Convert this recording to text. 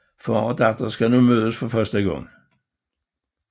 Far og datter skal nu mødes for første gang